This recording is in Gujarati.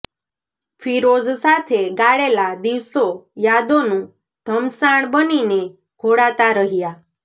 ફિરોઝ સાથે ગાળેલા દિવસો યાદોનું ઘમસાણ બનીને ઘોળાતા રહ્યા